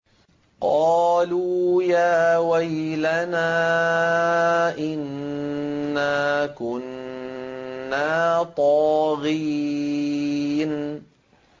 قَالُوا يَا وَيْلَنَا إِنَّا كُنَّا طَاغِينَ